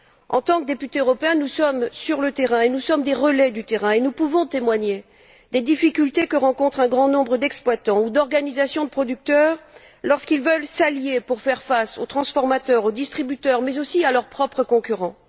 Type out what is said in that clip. En tant que députés européens, nous sommes sur le terrain, nous sommes des relais du terrain et nous pouvons témoigner des difficultés que rencontrent un grand nombre d'exploitants ou d'organisations de producteurs lorsqu'ils veulent s'allier pour faire face aux transformateurs, aux distributeurs, mais aussi à leurs propres concurrents.